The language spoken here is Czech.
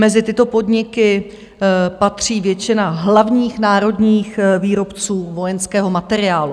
Mezi tyto podniky patří většina hlavních národních výrobců vojenského materiálu.